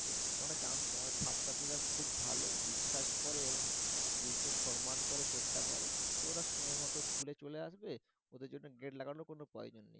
ওরা জানত আমার ছাত্রছাত্রীরা খুব ভালো বিশ্বাস করে এবং school কে সম্মান করে শ্রদ্ধা করে তো ওরা সময়মতো school এ চলে আসবে ওদের জন্য gate লাগানোর কোন প্রয়োজন নেই